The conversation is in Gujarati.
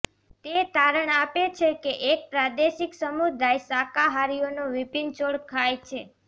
તે તારણ આપે છે કે એક પ્રાદેશિક સમુદાય શાકાહારીઓ વિભિન્ન છોડ ખાય છે